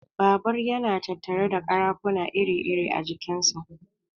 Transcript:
Babur yana tattare da ƙarafuna iri-iri a jikin sa.